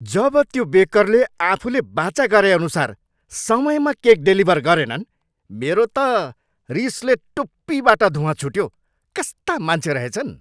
जब त्यो बेकरले आफूले वाचा गरेअनुसार समयमा केक डेलिभर गरेनन्, मेरो त रिसले टुप्पीबाट धुवाँ छुट्यो। कस्ता मान्छे रहेछन्!